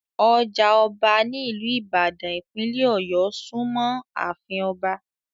Ọjà ọba ní ìlú ìbàdàn, ìpínlẹ̀ ọ̀yọ́ súnmọ́ àfin Ọba